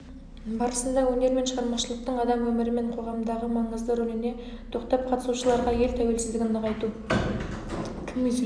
барысында өнер мен шығармашылықтың адам өмірі мен қоғамдағы маңызды рөліне тоқтап қатысушыларға ел тәуелсіздігін нығайту